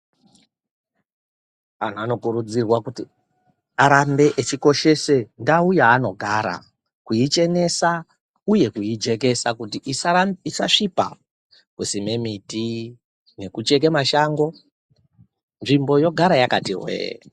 Antu anokurudzirwa kuti arambe echikoshese ndau yaanogara, kuichenesa uye kuijekesa kuti isasvipa, kusime miti nekucheke mashango nzvimbo yogara yakati hwee.